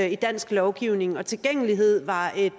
i dansk lovgivning og tilgængelighed var et